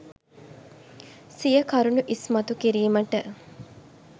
සිය කරුණු ඉස්මතු කිරීමට